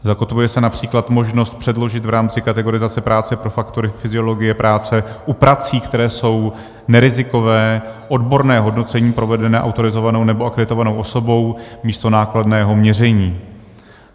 Zakotvuje se například možnost předložit v rámci kategorizace práce pro faktory fyziologie práce u prací, které jsou nerizikové, odborné hodnocení provedené autorizovanou nebo akreditovanou osobou místo nákladného měření.